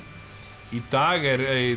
í dag er